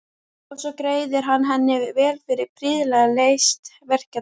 Og svo greiðir hann henni vel fyrir prýðilega leyst verkefni.